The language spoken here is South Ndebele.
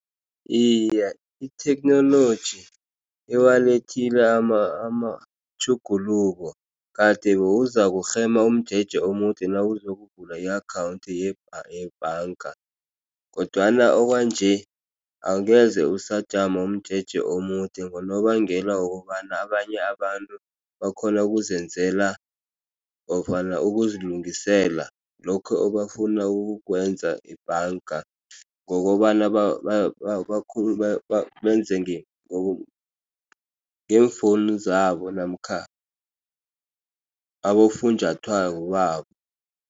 Iye, itheknoloji iwalethile amatjhuguluko kade bewuzakurhema umjeje omude nawuzokuvula i-account yebhanga kodwana okwanje angeze usajama umjeje omude. Ngonobangela wokobana abanye abantu bakhona ukuzenzela nofana ukuzilungisela lokho abafuna ukukwenza ebhanga ngokobana benze ngeemfowunu zabo namkha abofunjathwako babo.